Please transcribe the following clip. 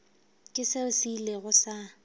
ke seo se ilego sa